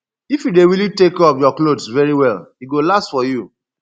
if you dey really take care of your clothes very well e go last for you